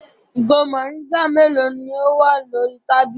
Ìgò mòríngà mélòó ni ó wà lórí tábìlì?